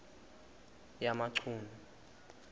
yamachunu